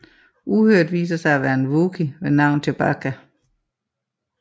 Uhyret viser sig at være en wookiee ved navn Chewbacca